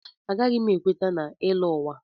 Agaghị m ekweta na ịlọ ụwa.